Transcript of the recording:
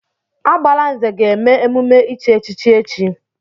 Agbalanze ga-eme emume ichi echichi echi.